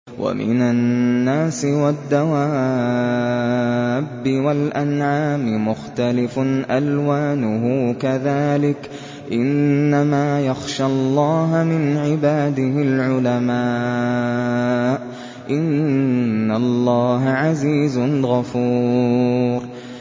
وَمِنَ النَّاسِ وَالدَّوَابِّ وَالْأَنْعَامِ مُخْتَلِفٌ أَلْوَانُهُ كَذَٰلِكَ ۗ إِنَّمَا يَخْشَى اللَّهَ مِنْ عِبَادِهِ الْعُلَمَاءُ ۗ إِنَّ اللَّهَ عَزِيزٌ غَفُورٌ